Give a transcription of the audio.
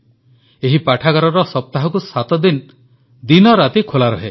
ଏହି ପାଠାଗାର ସପ୍ତାହକୁ ସାତଦିନ ଦିନରାତି ଖୋଲା ରହେ